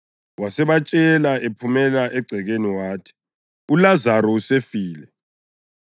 Wasebatshela ephumela egcekeni wathi, “ULazaro usefile,